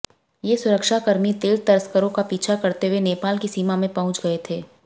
ये सुरक्षाकर्मी तेल तस्करों का पीछा करते हुए नेपाल की सीमा में पहुंच गए थे